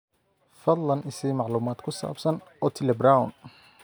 fadlan i sii macluumaad ku saabsan otile brown